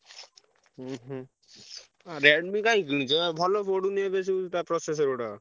ଉଁହୁଁ Redmi କାଇଁ କିଣୁଛୁ ଏଁ ଭଲ ପଡ଼ୁନି ଏବେ ସବୁ ତା processor ଗୁଡାକ।